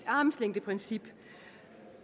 armslængdeprincippet